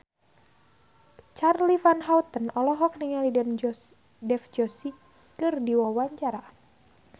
Charly Van Houten olohok ningali Dev Joshi keur diwawancara